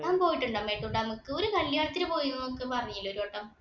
താൻ പോയിട്ടുണ്ടോ മേട്ടൂര്‍ dam ക്ക്. ഒരു കല്യാണത്തിന് പോയീന്ന് പറഞ്ഞില്ലേ ഒരു വട്ടം.